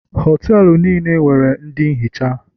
Họtelu niile nwere ndị nhicha